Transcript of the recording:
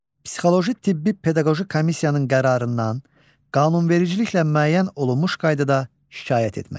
Psixoloji tibbi pedaqoji komissiyanın qərarından qanunvericiliklə müəyyən olunmuş qaydada şikayət etmək.